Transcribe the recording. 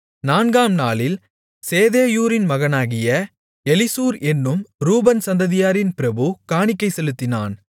நான்காம் நாளில் சேதேயூரின் மகனாகிய எலிசூர் என்னும் ரூபன் சந்ததியாரின் பிரபு காணிக்கை செலுத்தினான்